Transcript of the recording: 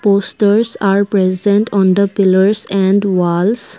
posters are present on the pillars and walls.